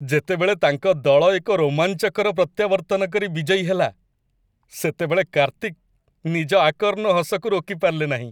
ଯେତେବେଳେ ତାଙ୍କ ଦଳ ଏକ ରୋମାଞ୍ଚକର ପ୍ରତ୍ୟାବର୍ତ୍ତନକରି ବିଜୟୀ ହେଲା, ସେତେବେଳେ କାର୍ତ୍ତିକ ନିଜ ଆକର୍ଣ୍ଣ ହସକୁ ରୋକି ପାରିଲେ ନାହିଁ।